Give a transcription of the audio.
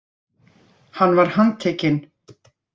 Hann var handtekinn